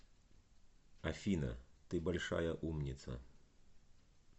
афина ты большая умница